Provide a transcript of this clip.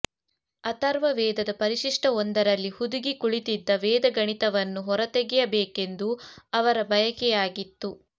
ಅಥರ್ವ ವೇದದ ಪರಿಶಿಷ್ಠವೊಂದರಲ್ಲಿ ಹುದುಗಿ ಕುಳಿತಿದ್ದ ವೇದ ಗಣಿತವನ್ನು ಹೊರತೆಗೆಯ ಬೇಕೆಂಬುದು ಅವರ ಬಯಕೆಯಾಗಿತ್ತು